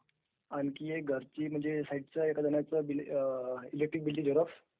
is not clearइलेक्ट्रीक बिलची Xerox